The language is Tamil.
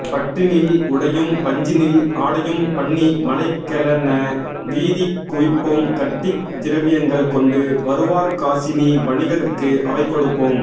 பட்டினில் உடையும் பஞ்சினில் ஆடையும்பண்ணி மலைகளென வீதி குவிப்போம்கட்டித் திரவியங்கள் கொண்டு வருவார்காசினி வணிகருக்கு அவை கொடுப்போம்